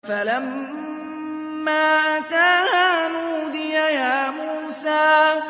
فَلَمَّا أَتَاهَا نُودِيَ يَا مُوسَىٰ